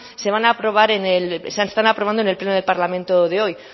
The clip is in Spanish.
se están aprobando en el pleno de parlamento de hoy